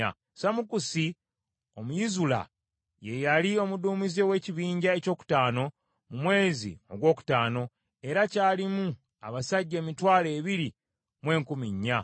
Samukusi Omuyizula ye yali omuduumizi ow’ekibinja ekyokutaano mu mwezi ogwokutaano, era kyalimu abasajja emitwalo ebiri mu enkumi nnya.